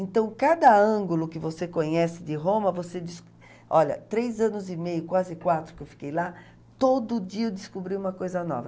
Então, cada ângulo que você conhece de Roma, você diz... Olha, três anos e meio, quase quatro que eu fiquei lá, todo dia eu descobri uma coisa nova.